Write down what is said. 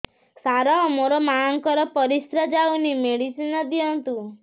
ସାର ମୋର ମାଆଙ୍କର ପରିସ୍ରା ଯାଉନି ମେଡିସିନ ଦିଅନ୍ତୁ